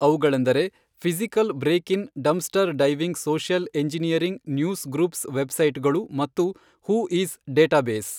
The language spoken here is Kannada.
ಅವುಗಳೆಂದರೆ physical break in dumpster diving social engineering news groups web site ಗಳು ಮತ್ತು ಹೂ ಈಸ್ ಡೇಟಾಬೇಸ್.